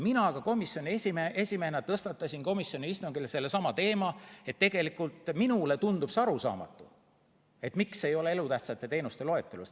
Mina komisjoni esimehena tõstatasin komisjoni istungil sellesama teema, sest ka minule tundub see arusaamatu, miks ei ole seda elutähtsate teenuste loetelus.